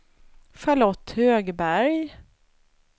Charlotte Högberg